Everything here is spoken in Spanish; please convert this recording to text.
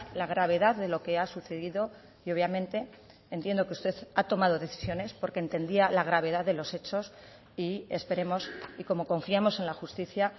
la gravedad de lo que ha sucedido y obviamente entiendo que usted ha tomado decisiones porque entendía la gravedad de los hechos y esperemos y como confiamos en la justicia